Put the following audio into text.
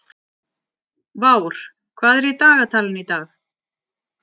Vár, hvað er í dagatalinu í dag?